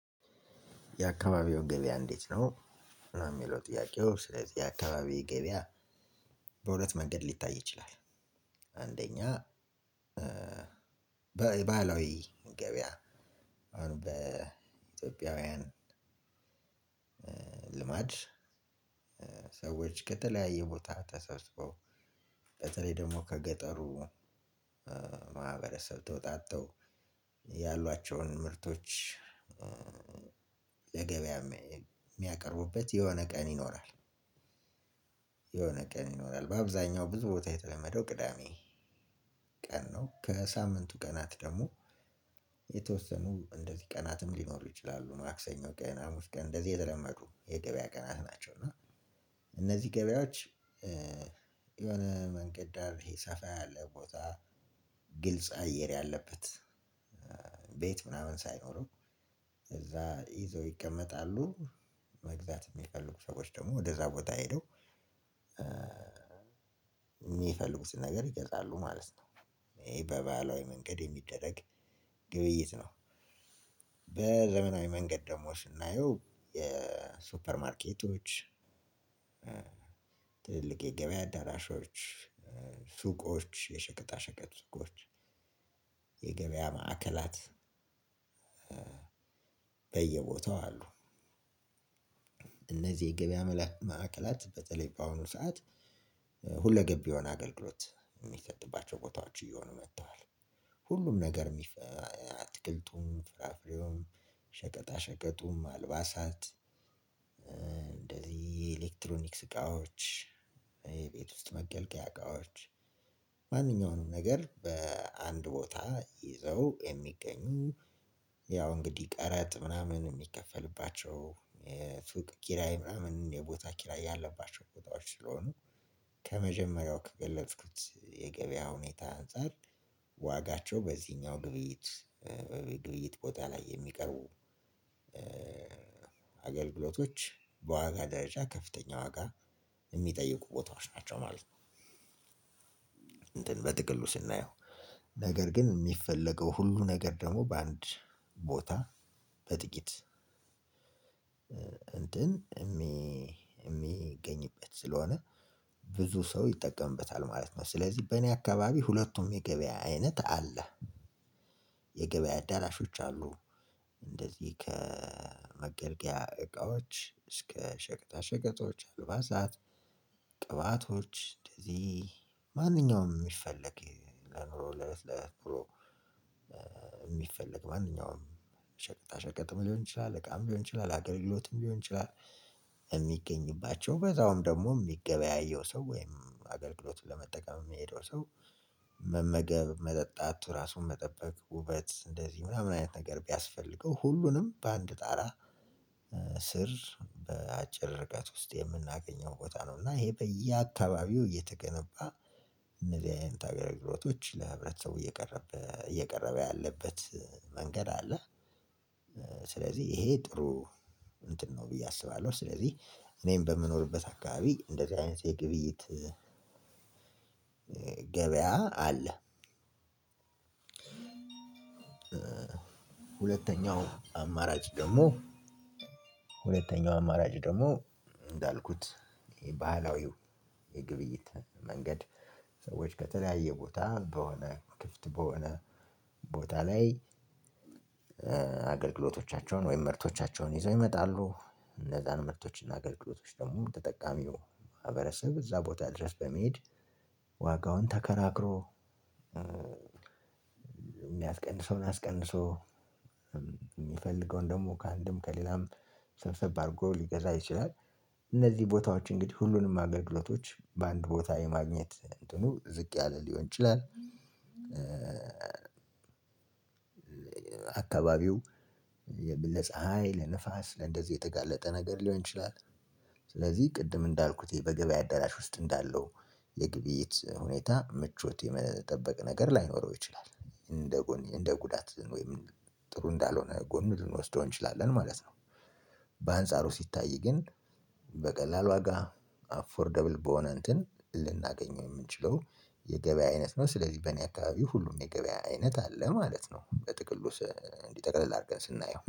የአካባቢው ገበያ እንዴት ነው? የሚለው ጥያቄው ስለዚህ የአካባቢው ገበያ በሁለት መንገድ ሊታይ ይችላል። አንደኛ በባህላው ገበያ አሁን በኢትዮጵያውያን ልማድ ሰዎች ከተለያየ ቦታ ተሰብስበው በተለይ ደግሞ ከገጠሩ ማህበረሰብ ተወጣጥተው ያሏቸውን ምርቶች ለገበያ የሚያቀርቡበት የሆነ ቀን ይኖራል። የሆነ ቀን ይኖራል በአብዛኛው ብዙ ቦታ የተለመደው ቅዳሜ። ቀን ነው ከሳምንቱ ቀናት ደግሞ የተወሰኑ እንደዚህ ቀናትም ሊኖሩ ይችላሉ ማክሰኞ ቀን ሀሙስ ቀን እነዚህ የተለመዱ የገበያ ቀናት ናቸው። እና እና እነዚህ ገበያዎች የሆነ መንገድ ዳር ይሄ ሰፋ ያለ ቦታ ግልጽ አየር ያለበት ቤት ምናምን ሳይኖርም እዛ ይዘው ይቀመጣሉ መግዛት የሚፈልጉ ሰዎች ደግሞ ወደዛ ቦታ ሄደው የሚፈልጉትን ነገር ይገዛሉ ማለት ነው። ይሄ በባህላዊ መንገድ የሚደረግ ግብይት ነው። በዘመናዊ መንገድ ደግሞ ስናየው የሱፐር ማርኬቶች ትልቅ የገበያ አዳራሾች ሱቆች የሸቀጣ ሸቀጥ ሱቆች የገበያ ማዕከላት በየቦታው አሉ። እነዚህ የገበያ መላክ ማዕከላት በተለይ በአሁኑ ሰዓት ሁለገብ የሆነ አገልግሎት የሚሰጥባቸው ቦታዎች እየሆኑ መጥተዋል። ሁሉም ነገር የሚፈ አትክልቱም ፍራፍሬውም ሸቀጣ ሸቀጡም አልባሳት እንደዚህ የኤሌክትሮኒክስ እቃዎች የቤት ውስጥ መገልገያ እቃዎች ማንኛውንም ነገር በአንድ ቦታ ይዘው የሚገኙ ያው እንግዲህ ቀረጥ ምናምን የሚከፈልባቸው የሱቅ ኪራይ ምናምን የቦታ ኪራይ ያለባቸው ቦታዎች ስለሆኑ። ከመጀመሪያው ከገለጽኩት የገበያ ሁኔታ አንፃር ዋጋቸው በዚህኛው ግብይት ግብይት ቦታ ላይ የሚቀርቡ አገልግሎቶች በዋጋ ደረጃ ከፍተኛ ዋጋ የሚጠይቁ ቦታዎች ናቸው ማለት ነው። እንትን በትቅሉ ስናየው ነገር ግን የሚፈለገው ሁሉ ነገር ደግሞ በአንድ ቦታ በጥቂት እንትን የሚገኝበት ስለሆነ ብዙ ሰው ይጠቀምበታል ማለት ነው። ስለዚህ በእኔ አካባቢ ሁለቱም የገበያ አይነት አለ። የገበያ አዳራሾች አሉ እንደዚህ ከመገልገያ እቃዎች እስከ ሸቀጣ ሸቀጦች አልባሳት ቅባቶች እንደዚህ ማንኛውም የሚፈለግ ለኑሮ ለኑሮ ማንኛውም ሸቀጣ ሸቀጥም ሊሆን ይችላል እቃም ሊሆን ይችላል አገልግሎትም ሊሆን ይችላል። የሚገኝባቸው በዛውም ደግሞ የሚገበያየው ሰው ወይም አገልግሎትም ለመጠቀም የሚሄደው ሰው መመገብ መጠጣት ራሱን መጠበቅ ውበት እንደዚህ ምናምን አይነት ነገር ቢያስፈልገው ሁሉንም በአንድ ጣራ ስር በአጭር ረቀት ውስጥ የምናገኘው ቦታ ነው። እና ይሄ በየአካባቢው እየተገነባ እነዚህ አይነት ጣቢያዊ ቦቶች ለህብረተሰቡ እየቀረበ እየቀረበ ያለበት መንገድ አለ። ስለዚህ ይሄ ጥሩ እንትን ነው ብዬ አስባለሁ። ስለዚህ እኔም በምኖርበት አካባቢ እንደዚህ አይነት የግብይት ገበያ አለ። ሁለተኛው አማራጭ ደግሞ ሁለተኛው አማራጭ ደግሞ እንዳልኩት የባህላዊው የግብይት መንገድ ሰዎች ከተለያየ ቦታ በሆነ ክፍት በሆነ ቦታ ላይ አገልግሎቶቻቸውን ወይም ምርቶቻቸውን ይዘው ይመጣሉ እነዛን መርቶችና አገልግሎቶች ደግሞ ተጠቃሚው ማህበረሰብ እዛ ቦታ ድረስ በመሄድ ዋጋውን ተከራክሮ የሚያስቀንሰውን አስቀንሶ የሚፈልገውን ደግሞ ከአንድም ከሌላም ሰብሰብ አድርጎ ሊገዛ ይችላል። እነዚህ ቦታዎች እንግዲህ ሁሉንም አገልግሎቶች በአንድ ቦታ የማግኘት እድሉ ዝቅ ያለ ሊሆን ይችላል። አካባቢው ለፀሃይ ለንፋስ ለእንደዚህ የተጋለጠ ነገር ሊሆን ይችላል። ስለዚህ ቅድም እንዳልኩት ይሄ በገበያ አዳራሽ ውስጥ እንዳለው የግብይት ሁኔታ ምቾት የመጠበቅ ነገር ላይኖረው ይችላል። እንደ ጎን እንደ ጉዳት ወይም ጥሩ እንዳልሆነ ጎን ልንወስደው እንችላለን ማለት ነው። በአንጻሩ ሲታይ ግን በቀላል ዋጋ አፎርደብል በሆነ እንትን ልናገኘው የምንችለው የገበያ አይነት ነው። ስለዚህ በእኔ አካባቢ ሁሉም የገበያ አይነት አለ ማለት ነው። በጥቅሉ ጠክለል አድርገን ስናየው